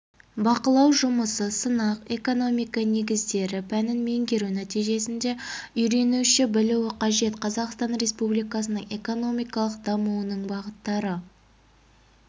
бақылау жұмысы сынақ экономика негіздері пәнін меңгеру нәтижесінде үйренуші білуі қажет қазақстан республикасының экономикалық дамуының бағыттары